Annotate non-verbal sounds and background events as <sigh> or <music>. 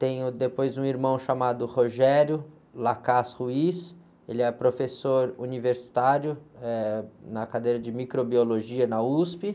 Tenho depois um irmão chamado, <unintelligible> ele é professor universitário, eh, na cadeira de microbiologia na úspi.